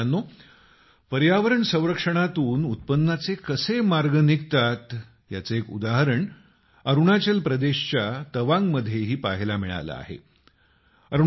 मित्रांनो पर्यावरण संरक्षणातून उत्पन्नाचे कसे मार्ग निघतात याचं एक उदाहरण अरूणाचल प्रदेशाच्या तवांगमध्येही पहायला मिळालं आहे